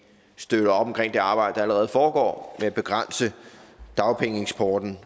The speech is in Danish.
støtter op omkring det arbejde der allerede foregår med at begrænse dagpengeeksporten